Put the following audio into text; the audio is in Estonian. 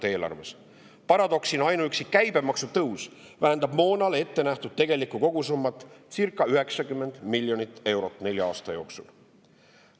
Paradoksina ainuüksi käibemaksu tõus vähendab moona tarbeks ettenähtud tegelikku kogusummat circa 90 miljonit eurot nelja aasta jooksul.